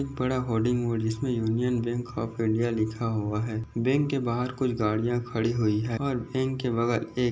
बड़ा hoarding board जिस मे यूनियन बैंक ऑफ़ इंडिया लिखा हुआ है बैंक के बाहर कुछ गाड़िया खड़ी हुई है और इनके बगल एक --